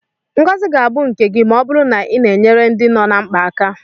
Ngozi ga-abụ nke gị ma ọ bụrụ na ị na-enyere ndị nọ na mkpa aka.